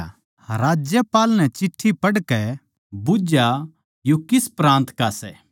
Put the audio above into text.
राज्यपाल नै चिट्ठी पढ़कै बुझ्झया यो किस प्रान्त का सै